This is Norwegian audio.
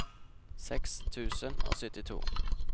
seks tusen og syttito